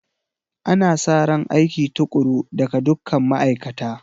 Ana sa ran aiki tukuru daga dukkan ma'aikata